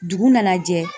Dugu nana jɛ